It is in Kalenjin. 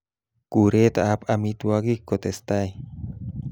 Kuretab amitwogik kotestai